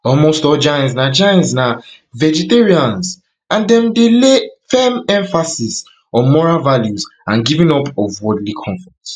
almost all jains na jains na vegetarians and dem dey lay firm emphasis on moral values and giving up of worldly comforts